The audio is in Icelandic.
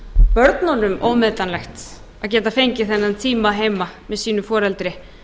börnunum ómetanlegt að geta fengið þennan tíma heima með sínu foreldri